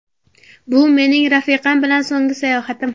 Bu mening rafiqam bilan so‘nggi sayohatim.